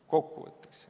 Kokkuvõtteks.